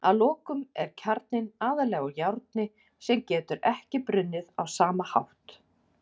Að lokum er kjarninn aðallega úr járni sem getur ekki brunnið á sama hátt.